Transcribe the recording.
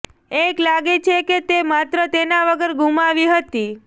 એક લાગે છે કે તે માત્ર તેના વગર ગુમાવી હતી